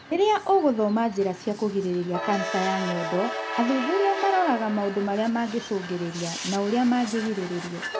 Rĩrĩa ũgũthoma njĩra cia kũrigĩrĩria kanca ya nyondo, athuthuria maroraga maũndũ marĩa mangĩcũngĩrĩria na ũrĩa mangĩrigĩrĩrio